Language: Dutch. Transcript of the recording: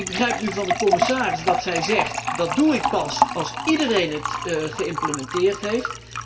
Ik begrijp nu van de commissaris dat zij zegt 'Dat doe ik pas als iedereen het geïmplementeerd heeft.'